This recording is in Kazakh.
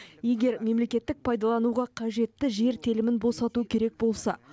егер мемлекеттік пайдалануға қажетті жер телімін босату керек болса